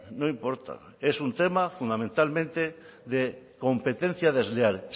no importa es un tema fundamentalmente de competencia desleal